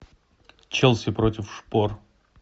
челси против шпор